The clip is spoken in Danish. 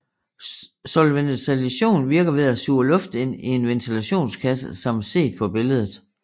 Solventilation virker ved at suge luft ind i en ventilationskasse som set på billedet